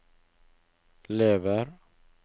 lever